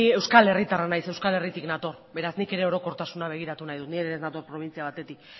euskal herritarra naiz euskal herritik nator beraz nik ere orokortasuna begiratu nahi dut ni ere ez nator probintzia batetik